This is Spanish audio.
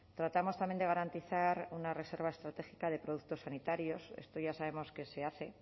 tratamos también de garantizar una reserva estratégica de productos sanitarios esto ya sabemos que se hace